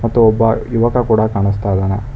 ಇಲ್ಲಿ ಒಬ್ಬ ಯುವಕ ಕೂಡ ಕಾಣಸ್ತ ಇದಾನೆ.